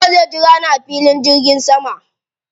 Nura zai jira ni a filin jirgin sama.